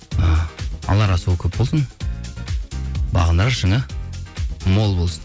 і алар асуы көп болсын бағындырар шыңы мол болсын